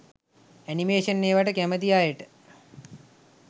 animation ඒවට කැමති අයට